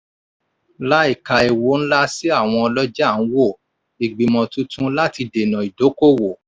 láìka ewu ńlá sí àwọn ọlọ́jà ń wo ìgbìmọ̀ tuntun láti dènà ìdókòwò.